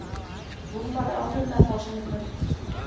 Rúnar er alveg með það á sinni könnu.